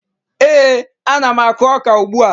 Ee, ana m akụ ọka ugbua